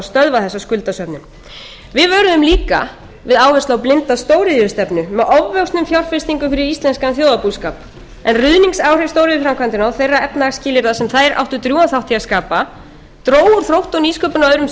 stöðva þessa skuldasöfnun við vöruðum líka við áherslu á blinda stóriðjustefnu með ofvöxnum fjárfestingum fyrir íslenskan þjóðarbúskap en ruðningsáhrif stóriðjuframkvæmdanna og þeirra efnahagsskilyrða sem þær áttu drjúgan þátt í að skapa dró úr þrótti og nýsköpun á öðrum